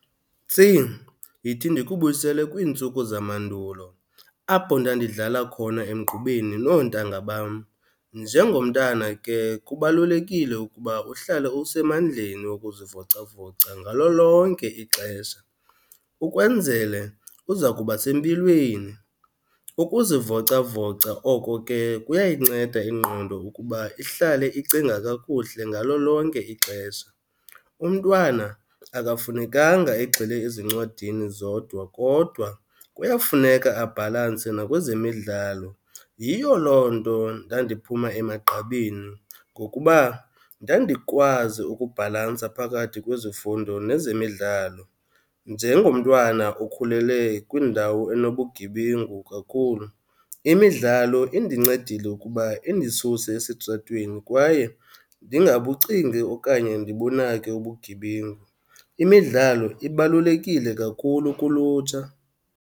Tsi, yithi ndikubuyisele kwiintsuku zamandulo apho ndandidlala khona emgqubeni noontanga bam. Njengomntana ke kubalulekile ukuba uhlale usemandleni wokuzivocavoca ngalo lonke ixesha ukwenzele uza kuba sempilweni. Ukuzivocavoca oko ke kuyayinceda ingqondo ukuba ihlale icinga kakuhle ngalo lonke ixesha. Umntwana akafunekanga egxile ezincwadini zodwa kodwa kuyafuneka abhalanse nakwezemidlalo. Yiyo loo nto ndandiphuma emagqabini ngokuba ndandikwazi ukubhalansa phakathi kwezifundo nezemidlalo. Njengomntwana okhulele kwindawo enobugebengu kakhulu, imidlalo indincedile ukuba indisuse esitratweni kwaye ndingabucingi okanye ndibunake ubugebengu. Imidlalo ibalulekile kakhulu kulutsha.